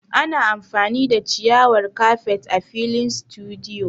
Ana amfani da ciyawar kafet a filin situdiyu